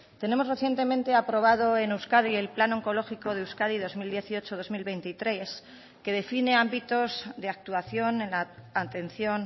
tenemos recientemente aprobado en euskadi el plan oncológico de euskadi dos mil dieciocho dos mil veintitrés que define ámbitos de actuación en la atención